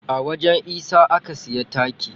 A wajen isa aka siya taki.